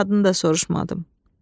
Kişinin adını da soruşmadım.